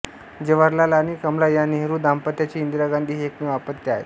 जवाहरलाल आणि कमला या नेहरू दांपत्याचे इंदिरा गांधी हे एकमेव अपत्य होते